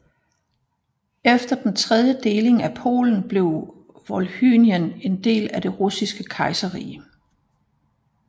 Efter den tredje deling af Polen blev Volhynien en del af det russiske kejserrige